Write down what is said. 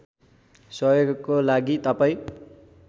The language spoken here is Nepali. सहयोगको लागि तपाईँ